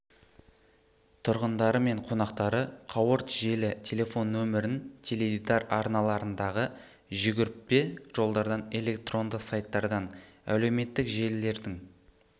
тұрғындары мен қонақтары қауырт желі телефон нөмірін теледидар арналарындағы жүгірпе жолдардан электронды сайттардан әлеуметтік желілердің